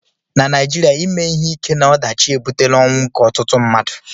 na Naịjirịa ime ihe ike na ọdachi ebutela ọnwụ nke ọtụtụ mmadụ